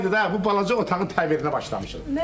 Üç aydır da bu balaca otağın təmirinə başlamışıq.